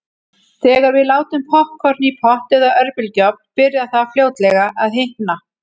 Þegar við látum poppkorn í pott eða örbylgjuofn byrjar það fljótlega að hitna.